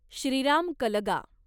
Shriram Kalga